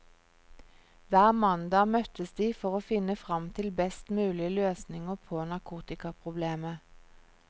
Hver mandag møttes de for å finne frem til best mulig løsninger på narkotikaproblemet.